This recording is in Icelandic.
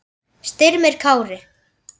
Styrmir Kári.